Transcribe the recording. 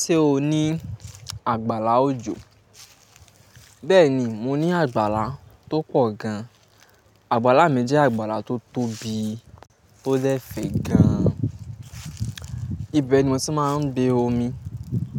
Ṣé o ní àgbàlá òjò? Bẹ́ẹ̀ni, mo ní àgbàlá tó pọ̀ gan. Àgbàlá mi jẹ́ àgbàlá tó tóbi, tó dẹ̀ fẹ̀ gan. Ibẹ̀ ni mo ti máa ń gbé omi,